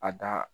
A da